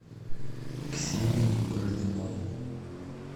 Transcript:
ксении бородиной